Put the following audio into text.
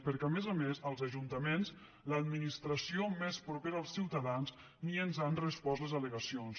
perquè a més a més als ajuntaments l’administració més propera als ciutadans ni ens han respost les al·legacions